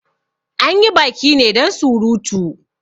Anyi baki ne dan surutu